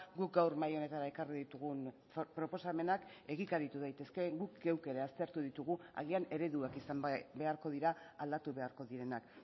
guk gaur mahai honetara ekarri ditugun proposamenak egikaritu daitezke guk geuk ere aztertu ditugu agian ereduak izan beharko dira aldatu beharko direnak